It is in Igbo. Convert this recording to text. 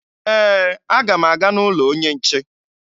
Ee, aga m aga n'ụlọ onye nche